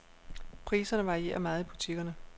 Priserne varierer meget i butikkerne.